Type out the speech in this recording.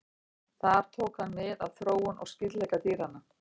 Þar tók hann mið af þróun og skyldleika dýranna.